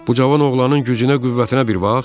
Bu cavan oğlanın gücünə-qüvvətinə bir bax!